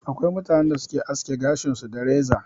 Akwai mutanen da su Ke aske gashin su da reza.